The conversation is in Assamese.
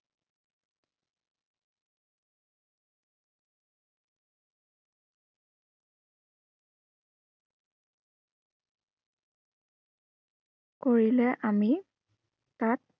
কৰিলে আমি, তাক